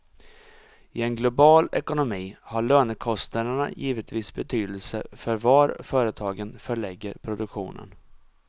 I en global ekonomi har lönekostnaderna givetvis betydelse för var företagen förlägger produktionen.